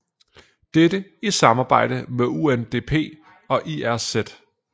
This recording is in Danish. Dette i samarbejde med UNDP og IRC